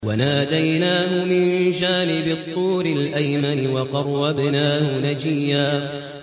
وَنَادَيْنَاهُ مِن جَانِبِ الطُّورِ الْأَيْمَنِ وَقَرَّبْنَاهُ نَجِيًّا